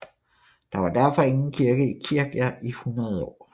Der var derfor ingen kirke i Kirkja i 100 år